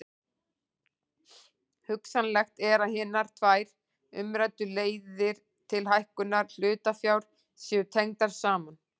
Hugsanlegt er að hinar tvær umræddu leiðir til hækkunar hlutafjár séu tengdar saman.